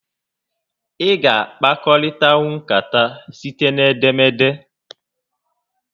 Ị ga a kpakọrịtanwu nkata site n'edemede